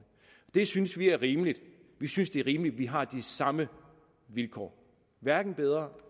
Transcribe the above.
det synes vi er rimeligt vi synes det er rimeligt at vi har de samme vilkår hverken bedre